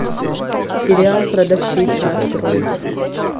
сериал продавщица открой